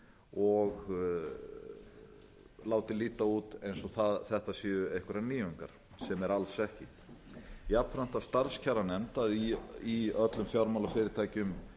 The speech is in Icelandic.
og látið líta út eins og þetta séu einhverjar nýjungar sem er alls ekki jafnframt að starfskjaranefnd í öllum fjármálafyrirtækjum